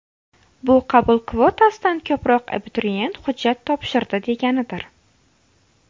Bu qabul kvotasidan ko‘proq abituriyent hujjat topshirdi deganidir.